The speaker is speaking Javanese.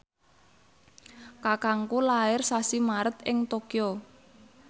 kakangku lair sasi Maret ing Tokyo